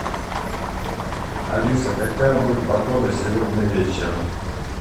алиса какая будет погода сегодня вечером